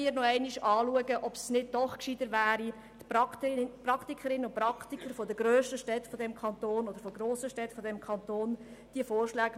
Wir sollten überprüfen, ob es nicht besser wäre, die Vorschläge mit den Praktikerinnen und Praktikern der grössten Städte dieses Kantons anzuschauen.